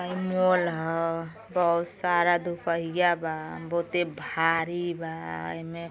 आ इ मॉल ह। बहुत सारा दुपहिया बा। बहुते भारी बा ऐमे।